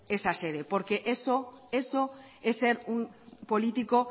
esa sede porque eso es ser un político